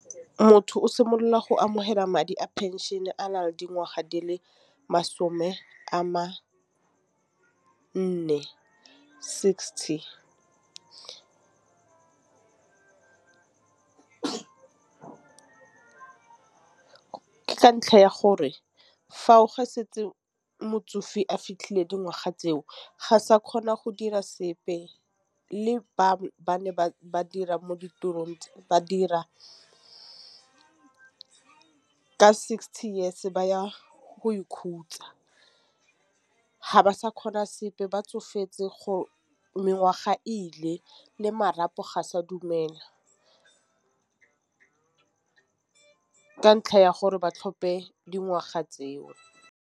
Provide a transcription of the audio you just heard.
Motho o simolola go amogela madi a pension a nang dingwaga di le masome a mane sixty. Ke ka ntlha ya gore fa o ge setse motsofe a fitlhile dingwaga tseo ga sa kgona go dira sepe le ba ne ba dira mo ditirong ba dira fa ka sixty years ba ya go ikhutsa. Ga ba sa kgona sepe ba tsofetse go mengwaga ile le marapo ga sa dumela, ka ntlha ya gore ba tlhope dingwaga tseo.